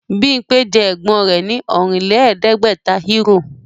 Bímpé jẹ ẹ̀gbọ́n rẹ̀ ní Ọ̀rìnlẹ̀ẹ́dẹ́gbẹ̀ta Euro